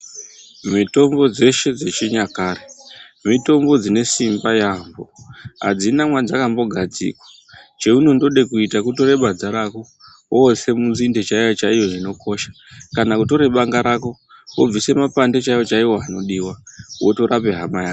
Mitombo dzeshe dzechinyakare mitombo dzinesimba yaambo, hadzina madzaka mbogadzikwa cheunondode kuita kutore badza rako otse munzinde chaiyo-chaiyo inokosha. Kana votore banga rako vobvise mapande chaivo-chaivo anodiva votorape hamayako.